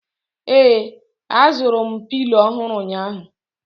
ee, azụrụ m Pilo ọhụrụ ụnyahụ